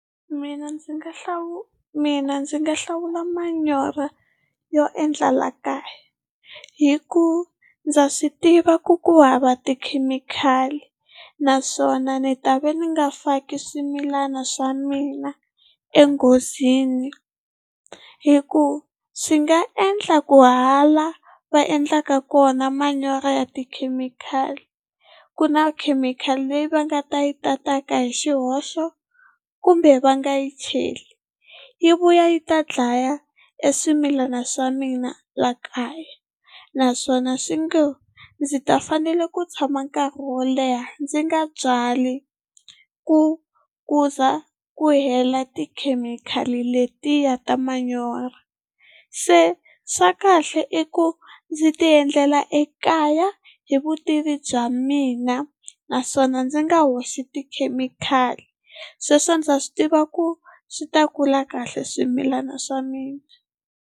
Mina ndzi nga hlawula mina ndzi nga hlawula manyoro yo endla la kaya, hi ku ndza swi tiva ku ku hava tikhemikhali naswona ni ta va ni nga faki swimilana swa mina enghozini, hikuva swi nga endla ku hala va endlaka kona manyoro ya tikhemikhali ku na khemikhali leyi va nga ta yi ta tata hi xihoxo kumbe va nga yi cheli yi vuya yi ta dlaya eswimilana swa mina la kaya naswona swi ngo ndzi ta fanele ku tshama nkarhi wo leha ndzi nga byali ku ku za ku hela tikhemikhali letiya ta manyoro. Se swa kahle i ku ndzi ti endlela ekaya hi vutivi bya mina, naswona ndzi nga hoxi tikhemikhali, sweswo ndza swi tiva ku swi ta kula kahle swimilana swa mina.